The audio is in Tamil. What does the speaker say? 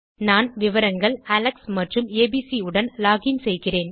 நான் விவரங்கள் அலெக்ஸ் மற்றும்abc உடன் லோகின் செய்கிறேன்